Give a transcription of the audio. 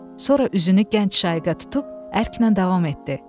Sonra üzünü gənc Şaiqə tutub ərklə davam etdi.